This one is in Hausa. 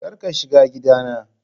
Kar ka shiga gidana!